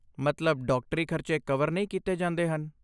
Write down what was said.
ਮਤਲਬ ਡਾਕਟਰੀ ਖਰਚੇ ਕਵਰ ਨਹੀਂ ਕੀਤੇ ਜਾਂਦੇ ਹਨ?